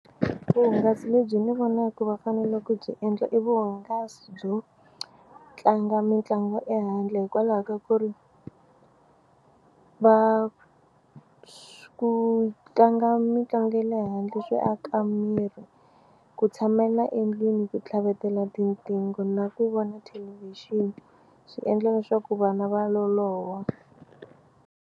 Vuhungasi lebyi ndzi vonaka va fanele ku byi endla i vuhungasi byo tlanga mitlangu ehandle hikwalaho ka ku ri va ku tlanga mitlangu ya le handle swi aka miri ku tshamela endlwini ku tlhavetela tinqingho na ku vona thelevhixini swi endla leswaku vana va loloha.